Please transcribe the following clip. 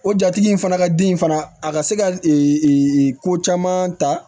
O jatigi in fana ka den fana a ka se ka ko caman ta